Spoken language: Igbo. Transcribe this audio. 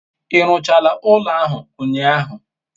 I ruchara ulo ahu unyahu?